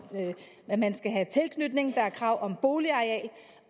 at man skal have tilknytning der er krav om boligareal